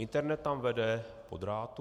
Internet tam vede po drátu.